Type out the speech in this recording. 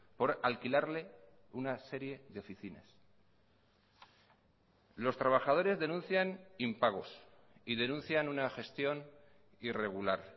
por alquilarle una serie de oficinas los trabajadores denuncian impagos y denuncian una gestión irregular